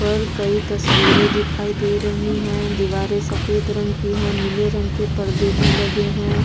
पर कई तस्वीरें दिखाई दे रही हैं दीवारें सफेद रंग की हैं नीले रंग के पर्दे भी लगे हैं ।